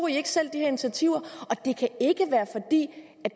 ikke selv de her intiativer det